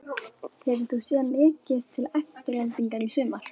Hefur þú séð mikið til Aftureldingar í sumar?